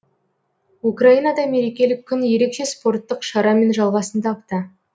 украинада мерекелік күн ерекше спорттық шарамен жалғасын тапты